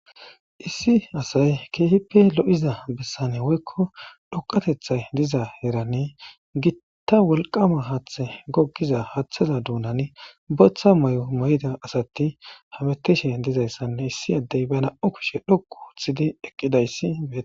Issi asy keehippe lo'iza bessan woykko dhoqateththay diza heran gitta wolkam haaththe gogiza haaththeza dunan booththa mayo maydda astti haanettishe dizaysanee issi addey be nam'ukushshe dhoqqu ooththidi eqqidaysi betes.